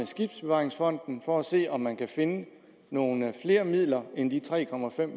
skibsbevaringsfonden for at se om man kan finde nogle flere midler end de tre